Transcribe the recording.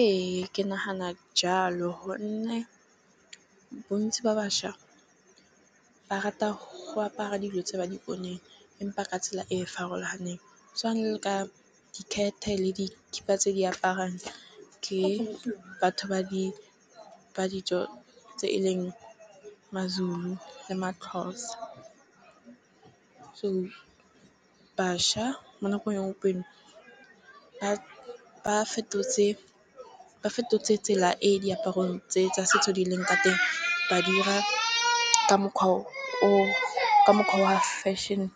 Ee, ke nagana jalo gonne bontsi ba ba rata go apara dilo tse ba di boneng empa ka tsela e farologaneng jaaka tse di aparang ke batho ba di ba ditso tse e leng ma-Zulu le ma-Xhosa. So, bašwa mo nakong ya gompieno ba fetotse tsela e diaparong tse tsa setso di leng ka teng ba dira ka mokgwa ka mokgwa wa fashion-e